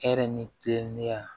Hɛrɛ ni kilinuya